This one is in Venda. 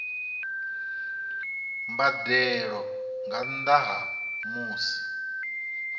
mbadelo nga nnda ha musi